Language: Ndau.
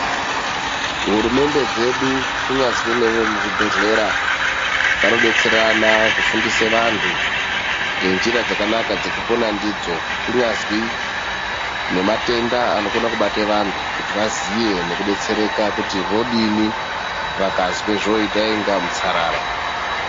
Hurumente dzedu kunyazwi nevemubhehleya ,vanodetserana kufundisa vantu ngenzira dzakanaka dzekupona ndidzo ,kunyazi nematenda anokona kubata vantu kuti vaziye nekudetsereka kuti vodini vakazwa zvoite kunge mutsarara.